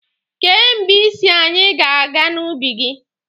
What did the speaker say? Kee mgbe ị sị anyị ga-aga n'ubi gị?